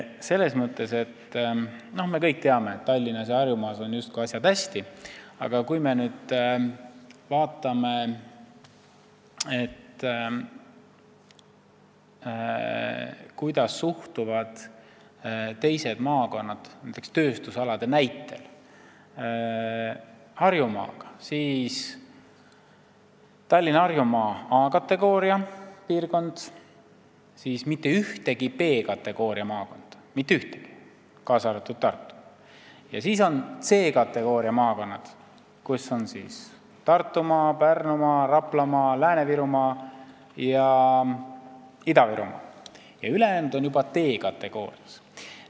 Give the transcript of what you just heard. Selles mõttes, et me kõik teame, et Tallinnas ja Harjumaal on asjad justkui hästi, aga kui me vaatame, kuidas suhestuvad teised maakonnad tööstusalade mõttes Harjumaaga, siis Tallinn ja Harjumaa on A-kategooria piirkond, mitte ühtegi B-kategooria maakonda ei ole, ka mitte Tartu, ja seejärel on C-kategooria maakonnad, kus on Tartumaa, Pärnumaa, Raplamaa, Lääne-Virumaa ja Ida-Virumaa ning ülejäänud on juba D-kategoorias.